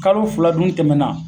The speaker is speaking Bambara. Kalo fila dun tɛmɛna